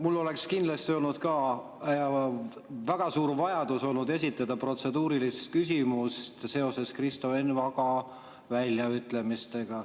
Mul oleks kindlasti olnud väga suur vajadus esitada protseduuriline küsimus seoses Kristo Enn Vaga väljaütlemistega.